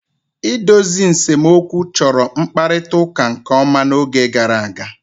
Idozi nsemokwu chọrọ mkparịta ụka nke ọma n'oge gara aga.